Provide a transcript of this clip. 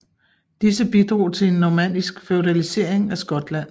Disse bidrog til en normannisk feudalisering af Skotland